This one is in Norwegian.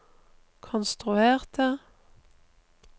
konstruerte